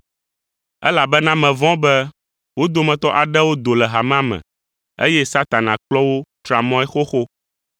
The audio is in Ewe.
Elabena mevɔ̃ be wo dometɔ aɖewo do hamea me, eye Satana kplɔ wo tra mɔe xoxo.